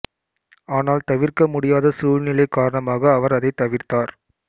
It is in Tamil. ஆனால் தவிர்க்க முடியாத சூழ்நிலை காரணமாக அவர் அதை தவிர்த்தார்